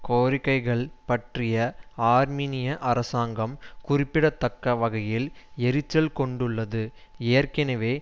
கோரிக்கைகள் பற்றி ஆர்மீனிய அரசாங்கம் குறிப்பிடத்தக்க வகையில் எரிச்சல் கொண்டுள்ளது ஏற்கனவே